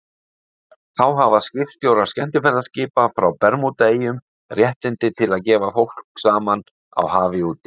Þá hafa skipstjórar skemmtiferðaskipa frá Bermúdaeyjum réttindi til að gefa fólk saman á hafi úti.